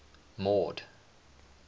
mord